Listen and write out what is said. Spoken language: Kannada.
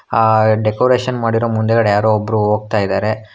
ಆ ಡೆಕೋರೇಷನ್ ಮಾಡಿರೋ ಮುಂದ್ಗಡೆ ಯಾರೊ ಒಬ್ರು ಹೋಗ್ತಾ ಇದಾರೆ.